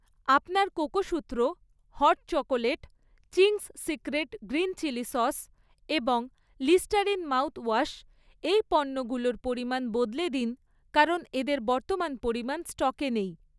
আপনার কোকোসুত্র, hot chocolate, Ching's secret green chilli sauce এবং লিস্টারিন মাউথওয়াশ এই পণ্যগুলোর পরিমাণ বদলে দিন কারণ এদের বর্তমান পরিমাণ স্টকে নেই